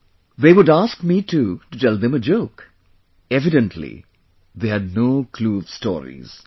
"They would ask me too to tell them a joke; evidently they had no clue of stories